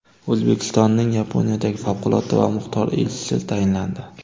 O‘zbekistonning Yaponiyadagi favqulodda va muxtor elchisi tayinlandi.